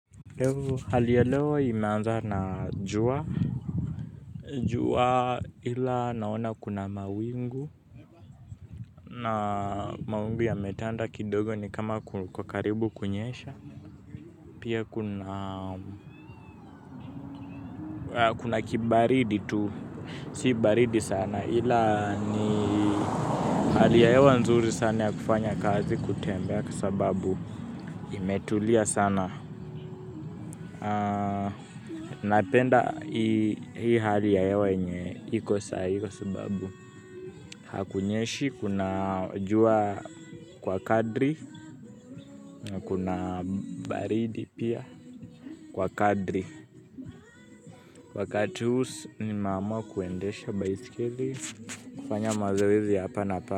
Hali ya leo imeanza na jua jua ila naona kuna mawingu na mawingu ya metanda kidogo ni kama kukokaribu kunyesha pia kuna kibaridi tu si baridi sana ila ni hali ya hewa nzuri sana ya kufanya kazi kutembea kwa sababu imetulia sana napenda hii hali yaewa yenye iko saa hii kwa sababu hakunyeshi kuna jua kwa kadri kuna baridi pia kwa kadri wakati huu nimeamua kuendesha baiskeli kufanya mazoezi hapa na pa.